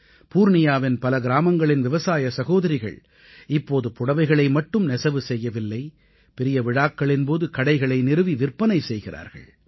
பூர்ணியாவின் பல கிராமங்களின் விவசாய சகோதரிகள் இப்போது புடவைகளை மட்டும் நெசவு செய்யவில்லை பெரிய விழாக்களின் போது கடைகளை நிறுவி விற்பனை செய்கிறார்கள்